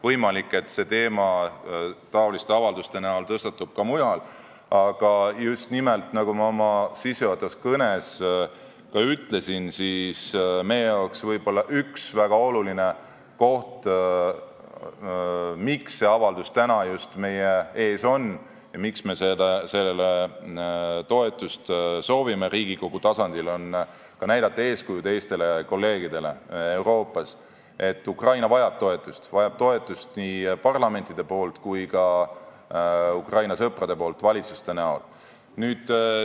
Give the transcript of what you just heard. Võimalik, et see teema taoliste avalduste kujul tõstatub ka mujal, aga just nimelt, nagu ma oma sissejuhatavas kõnes ka ütlesin, üks võib-olla väga oluline põhjus, miks see avaldus täna meie ees on ja miks me soovime sellele toetust Riigikogu tasandil, on ka soov näidata eeskuju kolleegidele Euroopas, näidata, et Ukraina vajab toetust, ta vajab toetust nii parlamentidelt kui ka Ukraina sõpradelt valitsuste näol.